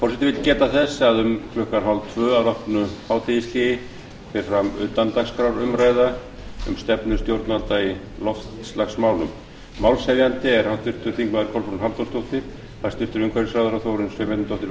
forseti vill geta þess að um klukkan þrettán þrjátíu að loknu hádegishléi fer fram utandagskrárumræða um stefnu stjórnvalda í loftslagsmálum málshefjandi er háttvirtir þingmenn kolbrún halldórsdóttir hæstvirtur umhverfisráðherra þórunn sveinbjarnardóttir verður